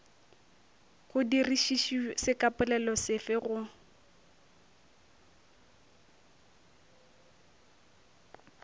go dirišišwe sekapolelo sefe go